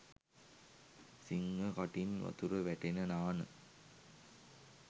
සිංහ කටින් වතුර වැටෙන නාන